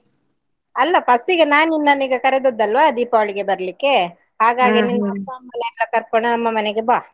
ಅಲ್ಲ first ಇಗೆ ನಾನ್ ನಿನ್ನನೀಗ ಕರೆದದ್ದು ಅಲ್ವ ದೀಪಾವಳಿಗೆ ಬರ್ಲಿಕ್ಕೆ ಅಪ್ಪ ಅಮ್ಮನೆಲ್ಲಾ ಕರ್ಕೊಂಡ್ ನಮ್ಮ ಮನೆಗೆ ಬಾ.